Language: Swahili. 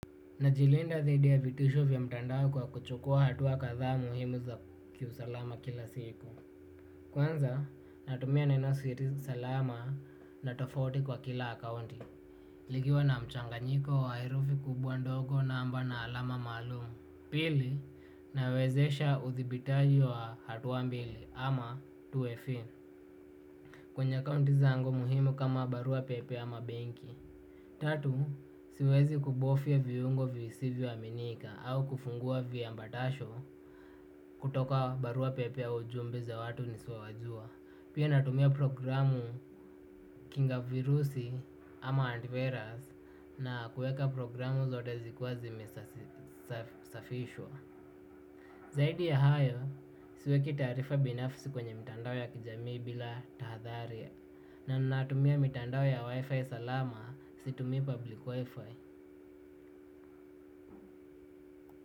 Najilinda zaidi ya vitisho vya mtandao kwa kuchukua hatua kadhaa muhimu za kiusalama kila siku. Kwanza natumia nenosiri salama na tofauti kwa kila akaunti. Likiwa na mchanganyiko wa herufi kubwa ndogo namba na alama maalumu. Pili nawezesha udhibitaji wa hatua mbili ama two way pin. Kwenye akaunti zangu muhimu kama barua pepe ama benki. Tatu, siwezi kubofya viungo visivyoaminika au kufungua viambatasho kutoka barua pepe au ujumbe za watu nisiowajua. Pia natumia programu kinga virusi ama antivirus na kuweka programu zote zikiwa zimesafishwa. Zaidi ya hayo siweki taarifa binafsi kwenye mitandao ya kijamii bila tahadhari. Na natumia mitandao ya wifi salama situmii public wifi.